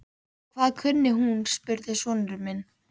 Hvað kunni hún? spurði sonur minn.